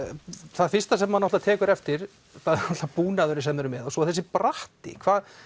það fyrsta sem maður tekur eftir er búnaðurinn sem þið eruð með og svo þessi bratti hvað